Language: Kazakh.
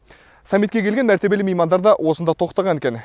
саммитке келген мәртебелі меймандар да осында тоқтаған екен